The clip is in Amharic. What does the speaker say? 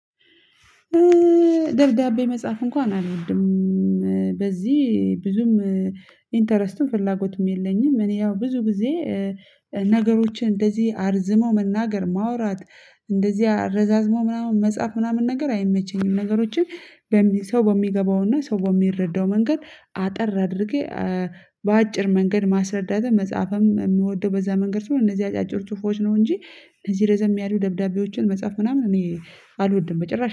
ደብዳቤ መጽሐፍ እንኳን አልወድም በዚህ ብዙም ኢንተረስትም ፍላጎትም የለኝም። እኔ ያው ብዙ ጊዜ ነገሮችን እንደዚህ አርዝመው መናገር ማውራት እንደዚህ አረዛዝሞ ምናምን መጽሐፍ ምናምን ነገር አይመቸኝም። ነገሮችን ሰው በሚገባውና ሰው በሚረዳው መንገድ አጠር አድርጌ በአጭር መንገድ ማስረዳት። መጽሐፍም የምወደው በዛ መንገድ ሲሆን እነዚህ አጫጭር ጽሁፎች ነው እንጂ እነዚህ ረዘም ያሉ ደብዳቤዎችን መጻፍ ምናምን እኔ አልወድም በጭራሽ